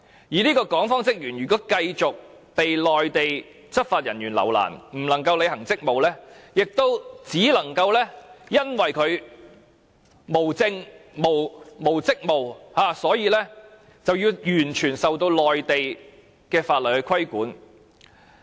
如果這名港方職員繼續被內地執法人員留難，不能履行職務，也因為他無證件和無職務，所以只能完全受內地法律規管。